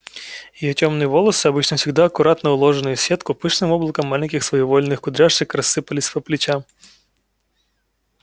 её тёмные волосы обычно всегда аккуратно уложенные в сетку пышным облаком маленьких своевольных кудряшек рассыпались по плечам